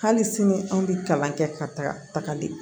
Hali sini an bɛ kalan kɛ ka taga tagali